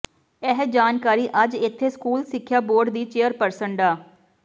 ਇਹ ਜਾਣਕਾਰੀ ਅੱਜ ਇੱਥੇ ਸਕੂਲ ਸਿੱਖਿਆ ਬੋਰਡ ਦੀ ਚੇਅਰਪਰਸਨ ਡਾ